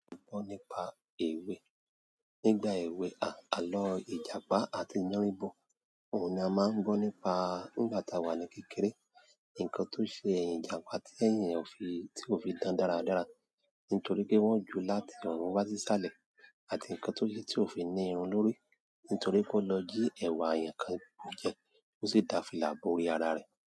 Alọ́ nípa èwe. Nígbà èwe ààlọ́ ìjàpá àti yánríbọ, òun ni a máa ń gbọ́ nípa nígbà tá a wà ní kékeré. Ǹkan tó ṣe ẹyìn ìjàpá tí èèyàn ò fi tí ò fi dára dára nítorí pé wọ́n ju láti ọ̀run wá sí sálẹ̀ àti ǹkan tó ṣe tí ò fi ní irun lórí nítorí kó lọ jí ẹ̀wà èèyàn kan jẹ kó sì da fìlà bo orí ara rẹ̀.